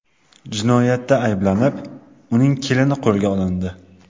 Jinoyatda ayblanib, uning kelini qo‘lga olindi.